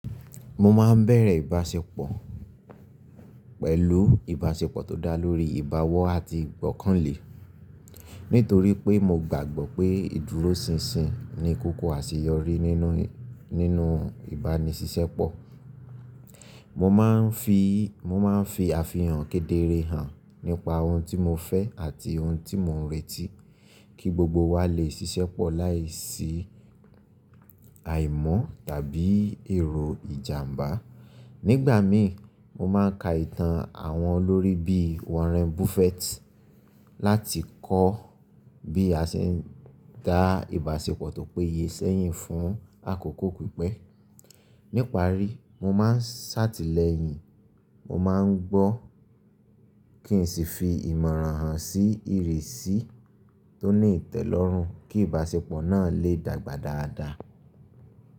Mo máa ń bẹ̀rẹ̀ ìbáṣepọ̀ pẹ̀lú ìbáṣepọ̀ tó dá lórí ìbáwọ́ àti ìgbọ́kànlé. Nítorí pé mo gbàgbọ́ pé ìdúróṣinṣin ni kókó àṣeyọrí nínú, nínú ìbánisípọ̀. Mo máa ń fi, mo máa ń fi àfihàn kedere hàn nípa ohun tí mo fẹ́ àti ohun tí mò ń retí kí gbogbo wa lè ṣiṣẹ́pọ̀ láìsí àìmọ́ tàbí èrò ìjàmbá. Nígbà mi mo máa ń ka ìtàn àwọn olórí bí Warren Buffett láti kọ́ bí a ṣe ń gba ìbáṣepọ̀ tó péye sẹ́yìn fún àkókò pípẹ́. Nípá rí mo máa ń ṣàtìlẹ́yìn, mo máa ń gbọ́ kí n sì fi ìmọ̀ràn hàn sí ìrísí tó ní ìtẹ́lọ́rùn kí ìbáṣepọ̀ náà lè dàgbà dáadáa.